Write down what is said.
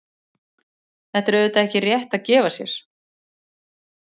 Þetta er auðvitað ekki rétt að gefa sér.